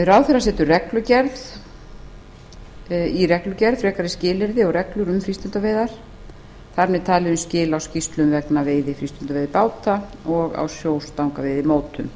ráðherra setur í reglugerð frekari skilyrði og reglur um frístundaveiðar þar með talið um skil á skýrslum vegna veiða frístundaveiðibáta og á sjóstangaveiðimótum